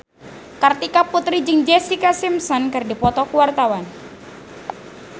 Kartika Putri jeung Jessica Simpson keur dipoto ku wartawan